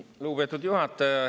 Lugupeetud juhataja!